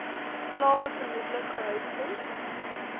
slawe vermoedelik gehuisves